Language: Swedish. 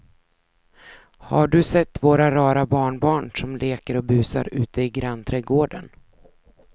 Har du sett våra rara barnbarn som leker och busar ute i grannträdgården!